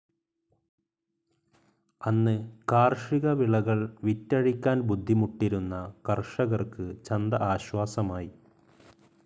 അന്ന്‌ കാർഷിക വിളകൾ വിറ്റഴിക്കാൻ ബുദ്ധിമുട്ടിരുന്ന കർഷകർക്ക്‌ ചന്ത ആശ്വാസമായി.